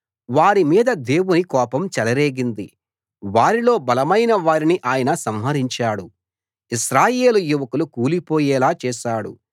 వారి మీద దేవుని కోపం చెలరేగింది వారిలో బలమైన వారిని ఆయన సంహరించాడు ఇశ్రాయేలు యువకులు కూలిపోయేలా చేశాడు